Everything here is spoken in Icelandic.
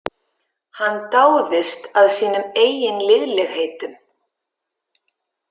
Hann dáðist að sínum eigin liðlegheitum.